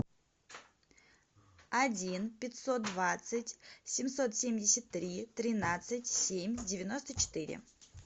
один пятьсот двадцать семьсот семьдесят три тринадцать семь девяносто четыре